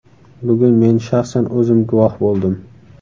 Bugun men shaxsan o‘zim guvoh bo‘ldim.